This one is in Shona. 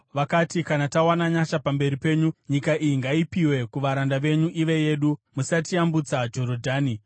Vakati, “Kana tawana nyasha pamberi penyu, nyika iyi ngaipiwe kuvaranda venyu ive yedu. Musatiyambutsa Jorodhani.”